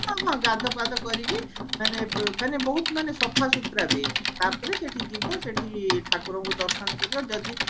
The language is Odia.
ହଁ ହଁ ହଁ ଗାଧୁଆ ପାଧୁଆ ମାନେ ବ ବହୁତ ମାନେ ସଫା ସୁତୁରା ବି ତାପରେ ସେଠି ଯିବ ସେଠି ଠାକୁରଙ୍କୁ ଦର୍ଶନ କରିବ ଯଦି